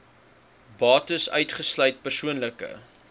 bates uitgesluit persoonlike